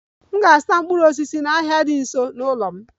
M ga-azụta mkpụrụ osisi n'ahịa dị nso n'ụlọ m